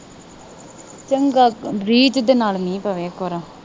ਚੰਗਾ ਵੀ ਜਿਹਦੇ ਨਾਲ ਮੀਂਹ ਪਵੇ ਇਕ ਵਾਰ